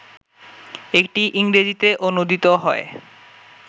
এটি ইংরেজিতে অনূদিত হয়